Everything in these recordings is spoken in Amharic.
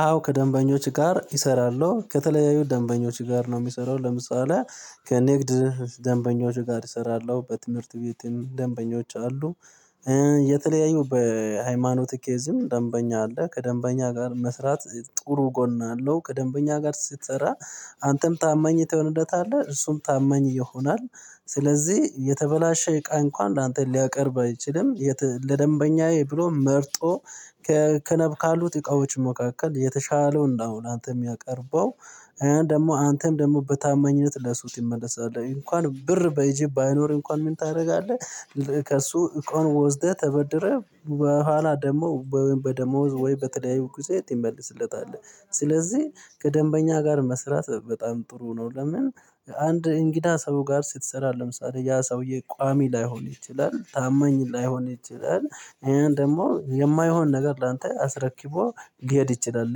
አዎ ከደንበኞች ጋር እሰራለሁ ከተለያዩ ደንበኞች ጋር ነው። ሚሰራው ለምሳሌ ከንግድ ደንበኞቹ ጋር እሰራለሁ በትምህርት ቤት ደንበኞች አሉ። የተለያዩ በሃይማኖት ኬዝም ደንበኛ አለ። ከደንበኛ ጋር መስራት ጥሩ ጎን አለው። ከደንበኛ ጋር ስትሰራ አንተም ታመኝ ትሆንለታለህ እሱም ታመኝ ይሆናል። ስለዚህ የተበላሸ ቃ እንኳን ላንተ ሊያቀርብ አይችልም። ለደንበኛዬ ብሎ መርጦ ከክነብ ካሉት እቃዎች መካከል የተሻለውን ነው ላንተ ሚያቀርበው። ደግሞ አንተም ደግሞ በታማኝነት ለሱ ትይመለሳል እንኳን ብር በኢጅብ ባይኖርህ እንኳን ምን ታደርጋለህ? ከእሱ እቃው ወስደህ ተበድረህ በኋላ ደግሞ በደሞዝ ወይ በተለያዩ ጊዜ ትይመልስለታል። ስለዚህ ከደንበኛ ጋር መስራት በጣም ጥሩ ነው። ለምን? አንድ እንግዳ ሰው ጋር ስትሰራ ለምሳሌ ያ ሰውዬ ቋሚ ላይሆን ይችላል ታማኝ ላይሆን ይችላል። ይሄን ደግሞ የማይሆን ነገር ላንተ አስረክቦ ሊሄድ ይችላል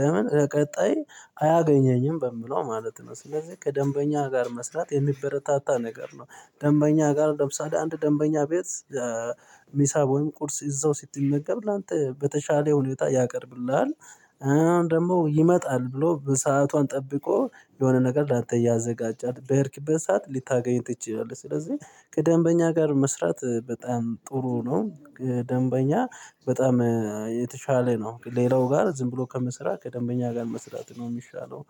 ለምን ለቀጣይ አያገኘኝም በምለው ማለት ነው። ስለዚህ ከደንበኛ ጋር መስራት የሚበረታታ ነገር ነው። ደንበኛ ጋር ለምሳሌ አንድ ደንበኛ ቤት ሚሳ ወይም ቁርስ ይዘው ስትመገብ ላንተ በተሻለ ሁኔታ ያቀርብልሃል። አሁን ደግሞ ይመጣል ብሎ በሰአቷን ጠብቆ የሆነ ነገር ላንተ እያዘጋጃል በሄድክበት ሰዓት ሊታገኝ ትችያለህ። ስለዚህ ከደንበኛ ጋር መስራት በጣም ጥሩ ነው። ደንበኛ በጣም የተሻለ ነው ሌላው ጋር ዝም ብሎ ከምስራት ከደንበኛ ጋር መስራት ነው ሚሻለው